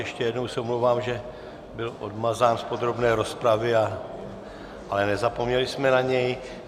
Ještě jednou se omlouvám, že byl odmazán z podrobné rozpravy, ale nezapomněli jsme na něj.